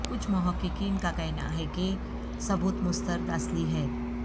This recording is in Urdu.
کچھ محققین کا کہنا ہے کہ ثبوت مسترد اصلی ہے